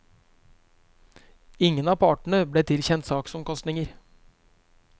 Ingen av partene ble tilkjent saksomkostninger.